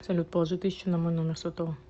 салют положи тысячу на мой номер сотового